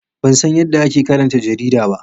Ban san yadda ake karanta jarida ba.